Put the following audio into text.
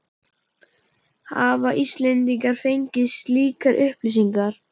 Hafa Íslendingar fengið slíkar upplýsingar?